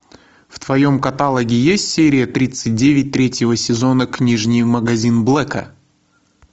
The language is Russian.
в твоем каталоге есть серия тридцать девять третьего сезона книжный магазин блэка